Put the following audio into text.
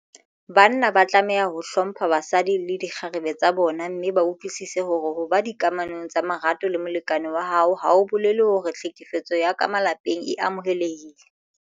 Banna ba tlameha ho hlompha basadi le dikgarebe tsa bona mme ba utlwisise hore ho ba dikamanong tsa marato le molekane wa hao ha ho bolele hore tlhekefetso ya ka malapeng e amohelehile.